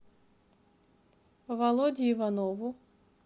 володе иванову